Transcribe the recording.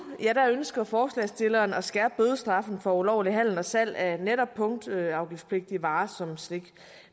ønsker forslagsstillerne at skærpe bødestraffene for ulovlig handel og salg af netop punktafgiftspligtige varer som slik